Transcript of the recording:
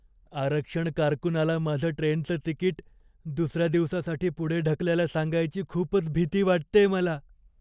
आरक्षण कारकुनाला माझं ट्रेनचं तिकीट दुसऱ्या दिवसासाठी पुढे ढकलायला सांगायची खूपच भीती वाटतेय मला.